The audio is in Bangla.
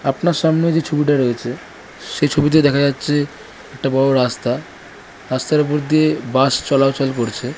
আপনার সামনে যে ছবিটা রয়েছে সে ছবিতে দেখা যাচ্ছে একটা বড়ো রাস্তা। রাস্তা উপর দিয়ে বাস চলাচল করছে ।